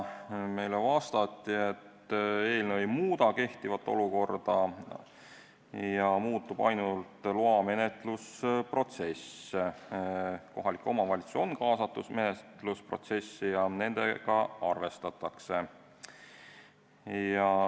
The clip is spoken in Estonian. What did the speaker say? Meile vastati, et eelnõu ei muuda kehtivat olukorda ja muutub ainult loamenetlusprotsess, kohalik omavalitsus on menetlusprotsessi kaasatud ja temaga arvestatakse.